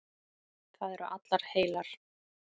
Það eru allar heilar.